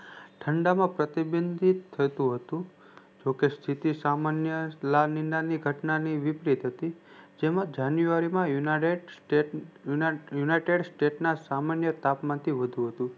ઠંડા માં પ્રતિબંધીત થતું હતું જોકે સ્થિતિ સામાન્ય નાની નાની ઘટના ની વિપરીત હતી જેમાં જાનુઆરી united states ના સામાન્ય તાપમાન થી વધુ હતું